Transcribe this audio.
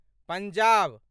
Punjab